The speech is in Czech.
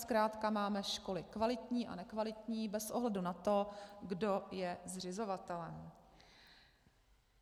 Zkrátka máme školy kvalitní a nekvalitní bez ohledu na to, kdo je zřizovatelem.